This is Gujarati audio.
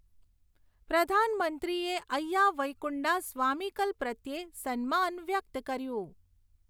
પ્રધાનમંત્રીએ અય્યા વૈઈકુંડા સ્વામીકલ પ્રત્યે સન્માન વ્યક્ત કર્યું.